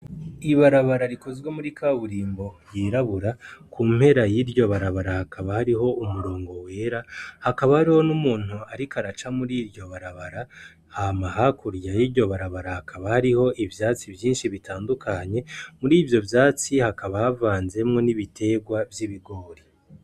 Ibarabara rikozwe muri kaburimbo ryirabura kumpera yiryo barabara hakaba hariho umurongo wera hakaba hari n'umuntu ariko araca mur'iryo barabara hama hakurya y'iryo barabara hakaba hariho ivyatsi vyinshi bitandukanye mur'ivyo vyatsi hakaba havazemwo n'ibiterwa vy'ibigori.